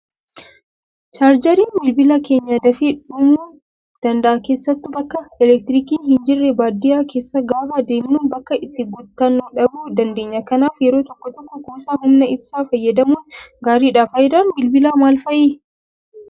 Chaarjariin bilbila keenyaa dafee dhumuum danda'a keessattuu bakka elektiriikiin hin jirre baadiyyaa keessa gaafa deemnu bakka itti guuttannu dhabuu dandeenya. Kanaaf yeroo tokko tokko kuusaa humna ibsaa fayyadamuun gaariidha. Fayidaan bilbilaa maal fa'ii?